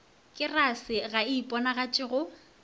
kesare ga e iponagatše go